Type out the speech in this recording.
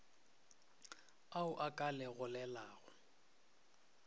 ao a ka le gogelago